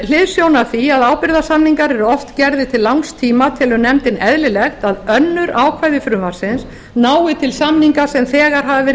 hliðsjón af því að ábyrgðarsamningar eru oft gerðir til langs tíma telur nefndin eðlilegt að önnur ákvæði frumvarpsins nái til samninga sem þegar hafa verið